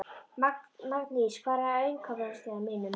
Magndís, hvað er á innkaupalistanum mínum?